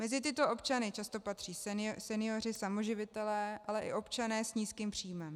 Mezi tyto občany často patří senioři, samoživitelé, ale i občané s nízkým příjmem.